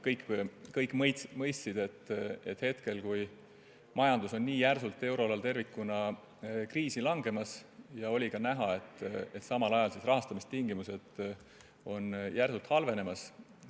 Kõik mõistsid, et majandus on euroalal tervikuna nii järsult kriisi langemas, ja oli näha, et ka rahastamistingimused on samal ajal järsult halvenemas.